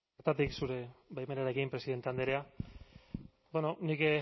bertatik zure baimenarekin presidente andrea bueno nik